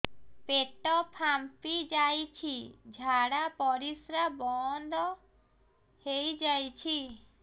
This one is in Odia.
ପେଟ ଫାମ୍ପି ଯାଇଛି ଝାଡ଼ା ପରିସ୍ରା ବନ୍ଦ ହେଇଯାଇଛି